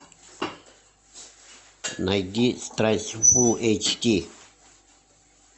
найди страсть фулл эйч ди